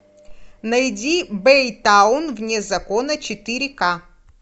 найди бэйтаун вне закона четыре к